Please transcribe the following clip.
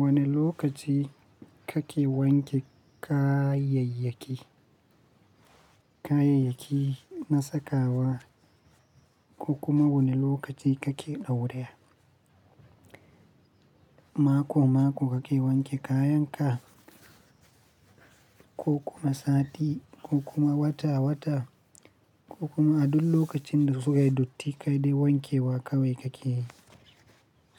Wane lokaci kake wanke kayayyaki, kayayyaki na sakawa ko kuma wane lokaci kake ɗauraya? Mako-mako kake wanke kayan ka ko kuma sati ko kuma wata-wata ko kuma a duk lokacin da suka yi datti ka dai wanke wa kawai kake yi?